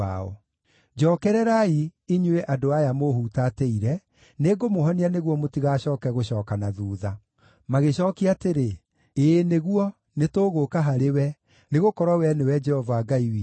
“Njookererai, inyuĩ andũ aya mũũhutatĩire; nĩngũmũhonia nĩguo mũtigacooke gũcooka na thuutha.” Magĩcookia atĩrĩ, “Ĩĩ nĩguo, nĩtũgũũka harĩwe, nĩgũkorwo wee nĩwe Jehova Ngai witũ.